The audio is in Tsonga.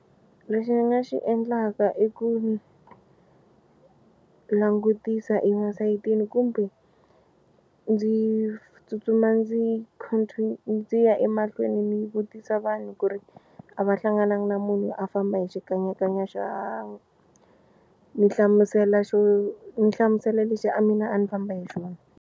Lexi ni nga xi endlaka i ku langutisa emasayitini kumbe ndzi tsutsuma ndzi ndzi ya emahlweni ni vutisa vanhu ku ri a va hlangananga na munhu a famba hi xikanyakanya xa ni hlamusela xo ni hlamusela lexi a mina a ni famba hi xona.